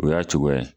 O y'a cogoya ye